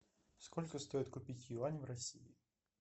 сколько стоит купить юани в россии